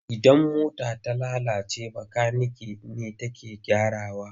Idan mota ta lalace makanike ne take gyarawa.